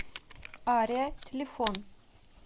ария телефон